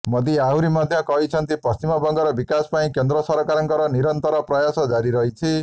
ମୋଦି ଆହୁରି ମଧ୍ୟ କହିଛନ୍ତି ପଶ୍ଚିମବଙ୍ଗର ବିକାଶ ପାଇଁ କେନ୍ଦ୍ର ସରକାରଙ୍କର ନିରନ୍ତର ପ୍ରୟାସ ଜାରି ରହିଛି